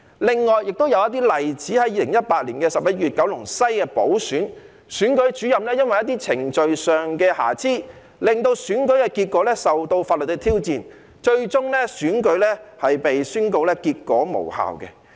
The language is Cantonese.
另外亦有一些例子，在2018年11月的九龍西補選中，選舉主任因為一些程序上的瑕疵，令選舉結果受到法律的挑戰，最終選舉被宣告結果無效。